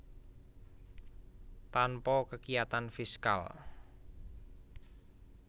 Tanpa kekiyatan fiskal